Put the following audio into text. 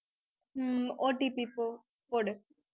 உம் OTP போ~ போடு